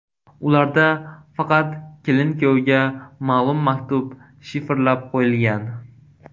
Ularda faqat kelin-kuyovga ma’lum maktub shifrlab qo‘yilgan.